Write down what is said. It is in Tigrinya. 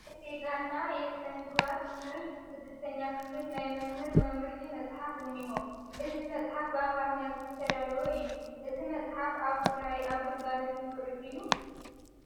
የስነ ዜጋና የስነምግባር ትምህርት 6ኛ ክፍል ናይ መምህር መምርሒ መፅሓፍ እኒሆ፡፡ እዚ መፅሓፍ ብኣምሓርኛ ዝተዳለወ እዩ፡፡ እዚ መፅሓፍ ኣብ ትግራይ ኣብ ግልጋሎት ይውዕል ድዩ?